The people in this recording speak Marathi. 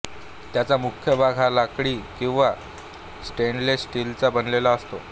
त्याचा मुख्य भाग हा लाकडी किंवा स्टेनलेस स्टीलचा बनलेला असतो